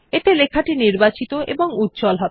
এতে লেখাটি নির্বাচিত এবং উজ্জ্বল হবে